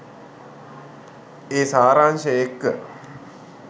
ඒ සාරාංශය එක්ක